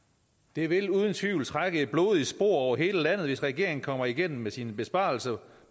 det vil uden tvivl trække et blodigt spor over hele landet hvis regeringen kommer igennem med sine besparelser